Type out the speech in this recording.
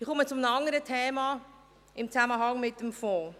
Ich komme zu einem anderen Thema in Zusammenhang mit dem Fonds.